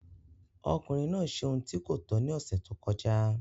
Ọkùnrin náà ṣe ohun tí kò tọ́ ní ọ̀sẹ̀ tó kọjá.